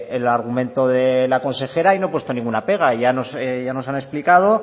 el argumento de la consejera y no ha puesto ninguna pega ya nos han explicado